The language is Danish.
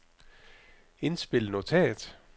indspil notat